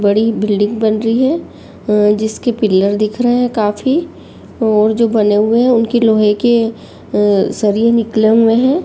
बड़ी बिल्डिंग बन रही हैं। अ जिसके पिलर दिख रहे हैं काफी और जो बने हुए हैं उनके लोहे की अ सरिये निकले हुए हैं।